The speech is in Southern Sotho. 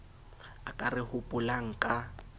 a ka re hopolang ka